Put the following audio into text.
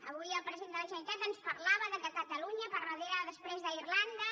avui el president de la generalitat ens parlava del fet que catalunya després d’irlanda